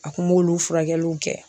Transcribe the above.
A kun b'olu furakɛliw kɛ